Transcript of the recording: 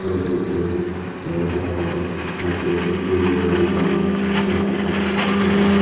bediriccho te tar por hoyekko guro aro manuj bacche agon baat hebatte tara.